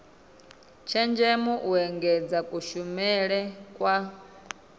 tshenzhemo u engedza kushumele kwa